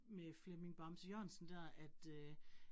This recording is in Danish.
Med Flemming Bamse Jørgensen dér, at øh